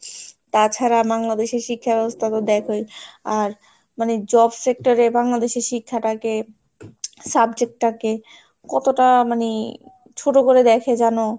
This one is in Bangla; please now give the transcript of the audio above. তাছাড়া বাংলাদেশের শিক্ষাব্যবস্থা তো দেখোই. আর মানে job sector এ বাংলাদেশি শিক্ষাটাকে subject টাকে কতটা মানে ছোট করে দেখে যেনো